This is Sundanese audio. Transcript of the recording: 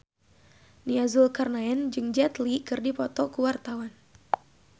Nia Zulkarnaen jeung Jet Li keur dipoto ku wartawan